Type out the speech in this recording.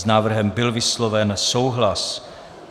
S návrhem byl vysloven souhlas.